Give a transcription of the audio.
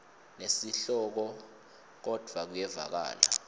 nesihloko kodvwa kuyevakala